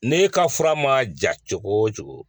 N'e ka fura man ja cogo o cogo.